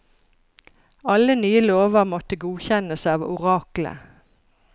Alle nye lover måtte godkjennes av oraklet.